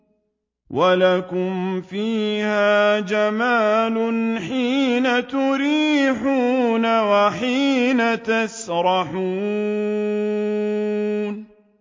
وَلَكُمْ فِيهَا جَمَالٌ حِينَ تُرِيحُونَ وَحِينَ تَسْرَحُونَ